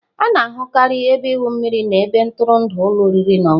A na-ahụkarị ebe igwu mmiri na ebe ntụrụndụ ụlọ oriri na ọṅụṅụ.